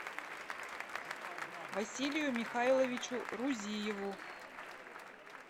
василию михайловичу рузиеву